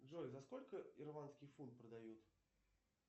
джой за сколько ирландский фунт продают